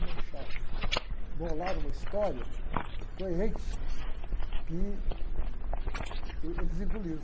e bolaram uma história coerente que uh, eles engoliram.